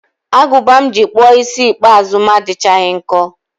Agụba m ji kpụọ isi ikpeazụ m adịchaghị nkọ